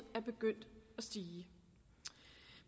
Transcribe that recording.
er begyndt at stige